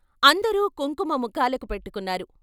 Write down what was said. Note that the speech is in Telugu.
అందరూ కుంకుమ ముఖాలకు ముఖాలకు పెట్టుకున్నారు.